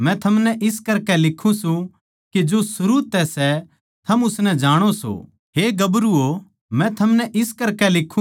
थम ना तो दुनिया तै अर ना दुनियावी चिज्जां तै प्यार राक्खो जै कोए दुनिया तै प्यार राक्खै सै तो उस म्ह पिता परमेसवर का प्यार कोन्या